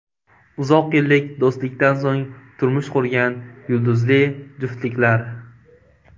Uzoq yillik do‘stlikdan so‘ng turmush qurgan yulduzli juftliklar .